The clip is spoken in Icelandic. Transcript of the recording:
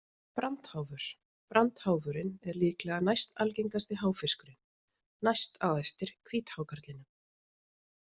Brandháfur Brandháfurinn er líklega næstalgengasti háfiskurinn, næst á eftir hvíthákarlinum.